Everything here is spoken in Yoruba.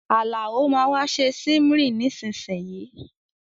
Àlàó máa wa se simmering nisínsìnyìí